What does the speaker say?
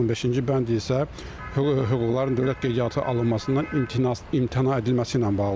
15-ci bənd isə hüquqların dövlət qeydiyyata alınmasından imtina edilməsi ilə bağlıdır.